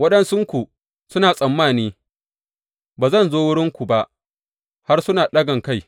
Waɗansunku suna tsammani ba zan zo wurinku ba har suna ɗagankai.